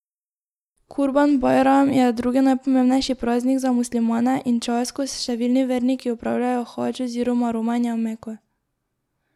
Kurban bajram je drugi najpomembnejši praznik za muslimane in čas, ko številni verniki opravljajo hadž oziroma romanje v Meko.